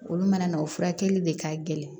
Olu mana na o furakɛli de ka gɛlɛn